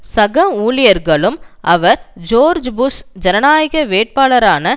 சக ஊழியர்களும் அவர் ஜோர்ஜ் புஷ் ஜனநாயக வேட்பாளரான